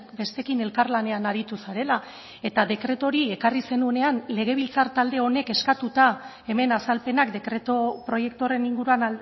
besteekin elkarlanean aritu zarela eta dekretu hori ekarri zenuenean legebiltzar talde honek eskatuta hemen azalpenak dekretu proiektu horren inguruan